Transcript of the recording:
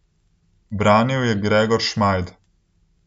Branil je Gregor Šmajd.